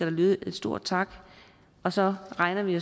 lyde en stor tak og så regner vi